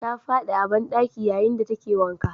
Ta fadi a bandaki yayin da take wanka.